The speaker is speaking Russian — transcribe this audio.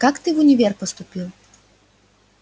как ты в универ поступил